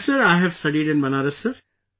Yes, I have studied in Banaras, Sir